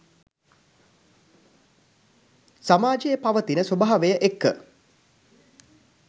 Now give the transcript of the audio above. සමාජයේ පවතින ස්වභාවය එක්ක